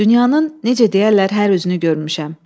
Dünyanın, necə deyərlər, hər üzünü görmüşəm.